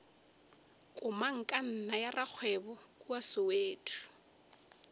komangkanna ya rakgwebo kua soweto